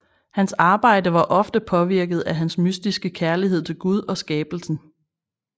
Hans arbejde var ofte påvirket af hans mystiske kærlighed til Gud og skabelsen